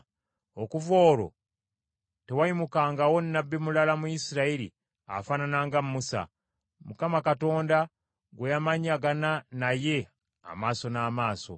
Okuva olwo tewayimukangawo nnabbi mulala mu Isirayiri afaanana nga Musa, Mukama Katonda gwe yamanyagana naye amaaso n’amaaso.